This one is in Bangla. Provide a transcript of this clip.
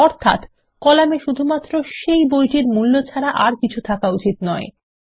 অর্থাত কলাম এ শুধুমাত্র সেই বইটির মূল্য ছাড়া আর কিছু থাকা উচিত নয়